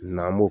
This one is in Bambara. N'an b'o